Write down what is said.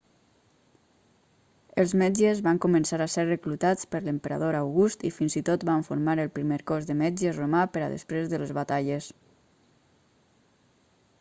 els metges van començar a ser reclutats per l'emperador august i fins i tot van formar el primer cos de metges romà per a després de les batalles